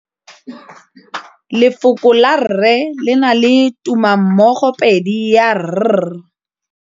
Lefoko la rre le na le tumammogôpedi ya, r.